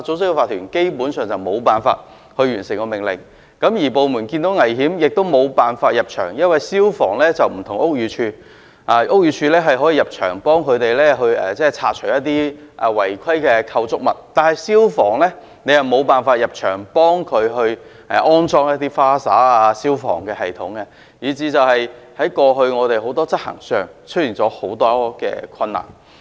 此外，消防員即使看見工廈內存在危險亦無法入場處理，因為與屋宇署不同，屋宇署是有權可以進入工廈內拆除一些違規的建築物，但消防處卻無權入場替他們安裝灑水系統及消防系統，以至政府部門過去在執法上出現很多的困難。